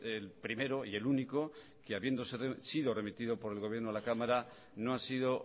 el primero y el único que habiendo sido remitido por el gobierno a la cámara no ha sido